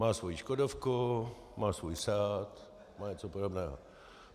Má svoji Škodovku, má svůj SEAT, má něco podobného.